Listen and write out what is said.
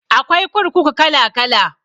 Akwai kurkuku kala kala